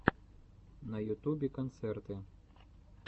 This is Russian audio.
на ютубе концерты